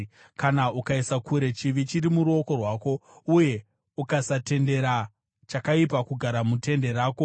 kana ukaisa kure chivi chiri muruoko rwako, uye ukasatendera chakaipa kugara mutende rako,